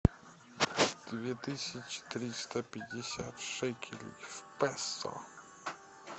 две тысячи триста пятьдесят шекелей в песо